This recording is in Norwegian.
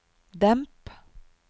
demp